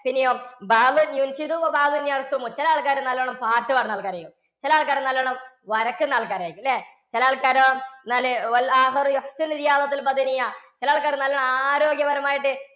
പിന്നെയോ ചില ആൾക്കാര് നല്ലവണ്ണം പാട്ടുപാടുന്ന ആൾക്കാർ ആയിരിക്കും. ചില ആൾക്കാർ നല്ലവണ്ണം വരയ്ക്കുന്ന ആൾക്കാർ ആയിരിക്കും അല്ലേ? ചില ആൾക്കാരോ ചില ആൾക്കാര് നല്ലവണ്ണം ആരോഗ്യപരമായിട്ട്